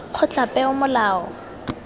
kgotlapeomolao